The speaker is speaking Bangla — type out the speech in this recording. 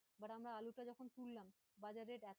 But আমরা আলুটা যখন তুললাম